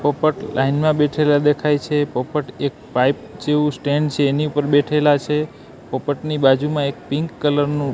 પોપટ લાઈન માં બેઠેલા દેખાય છે પોપટ એક પાઇપ જેવું સ્ટેન્ડ છે એની ઉપર બેઠેલા છે પોપટની બાજુમાં એક પિન્ક કલર નું--